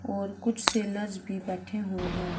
और कुछ सेलर्स भी बैठे हुए है।